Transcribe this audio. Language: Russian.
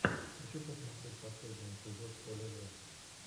хочу посмотреть последний эпизод олежэ